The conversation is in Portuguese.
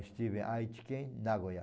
Estive em Aichi Ken, Nagoia.